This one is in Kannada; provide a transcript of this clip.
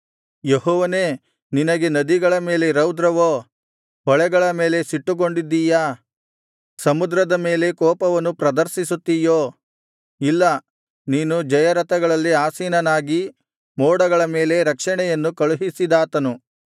ಯೆಹೋವನೇ ನಿನಗೆ ನದಿಗಳ ಮೇಲೆ ರೌದ್ರವೋ ಹೊಳೆಗಳ ಮೇಲೆ ಸಿಟ್ಟುಗೊಂಡಿದ್ದಿಯಾ ಸಮುದ್ರದ ಮೇಲೆ ಕೋಪವನ್ನು ಪ್ರದರ್ಶಿಸುತ್ತೀಯೋ ಇಲ್ಲಾ ನೀನು ಜಯರಥಗಳಲ್ಲಿ ಆಸೀನನಾಗಿ ಮೋಡಗಳ ಮೇಲೆ ರಕ್ಷಣೆಯನ್ನು ಕಳುಹಿಸಿದಾತನು